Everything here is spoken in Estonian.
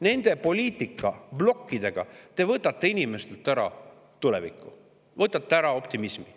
Nende poliitikaplokkidega te võtate inimestelt ära tuleviku, võtate ära optimismi.